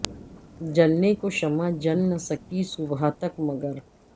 جلنے کو شمع جل نہ سکی صبح تک مگر